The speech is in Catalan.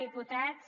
diputats